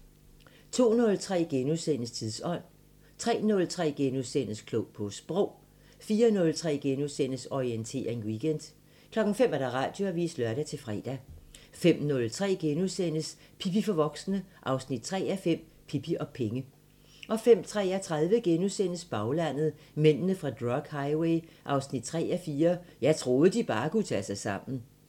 02:03: Tidsånd * 03:03: Klog på Sprog * 04:03: Orientering Weekend * 05:00: Radioavisen (lør-fre) 05:03: Pippi for voksne 3:5 – Pippi og penge * 05:33: Baglandet: Mændene fra drug highway 3:4 – "Jeg troede de bare kunne tage sig sammen" *